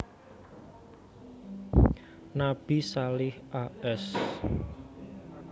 Nabi Salih a s